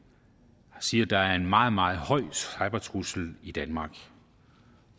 siger at der er en meget meget høj cybertrussel i danmark